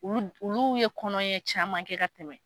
Olu ye kɔnɔ ɲɛ caman kɛ ka tɛmɛ.